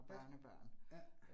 Ja, ja